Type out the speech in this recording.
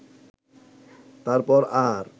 তারপর আর